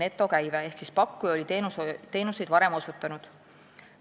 Ehk need pakkujad olid varem teenuseid osutanud.